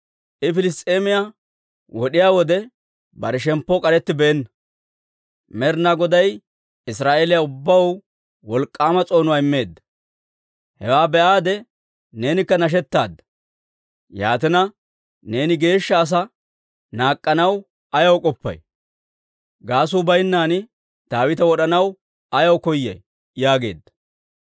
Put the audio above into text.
I Piliss's'eemiyaa wod'iyaa wode bare shemppoo k'arettibeenna. Med'inaa Goday Israa'eeliyaa ubbaw wolk'k'aama s'oonuwaa immeedda; hewaa be'aade neenikka nashetaadda. Yaatina, neeni geeshsha asaa naak'k'anaw ayaw k'oppay? Gaasuu baynnan Daawita wod'anaw ayaw koyay?» yaageedda.